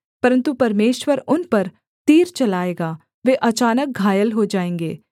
परन्तु परमेश्वर उन पर तीर चलाएगा वे अचानक घायल हो जाएँगे